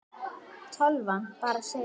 Tölvan bara segir nei.